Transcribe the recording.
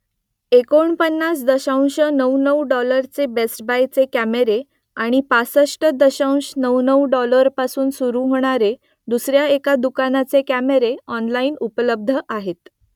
एकोणपन्नास दशांश नऊ नऊ डॉलरचे बेस्ट बायचे कॅमेरे आणि पासष्ट दशांश नऊ नऊ डॉलरपासून सुरू होणारे दुसऱ्या एका दुकानाचे कॅमेरे ऑनलाईन उपलब्ध आहेत